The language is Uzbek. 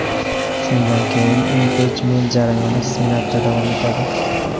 Shundan keyin impichment jarayoni Senatda davom etadi.